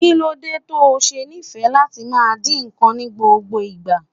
Kí ló dé to ṣe nífẹ̀ẹ́ láti máa dín nǹkan ní gbogbo ìgbà?